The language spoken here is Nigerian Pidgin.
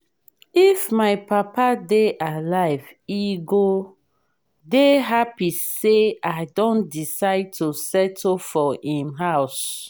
if my papa dey alive he go dey happy say i don decide to settle for im house